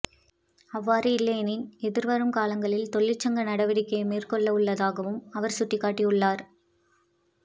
அவ்வாறு இல்லையாயின் எதிர்வரும் காலங்களில் தொழிற்சங்க நடவடிக்கையை மேற்கொள்ளவுள்ளதாகவும் அவர் சுட்டிக்காட்டியுள்ளார்